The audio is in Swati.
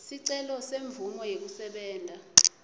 sicelo semvumo yekusebenta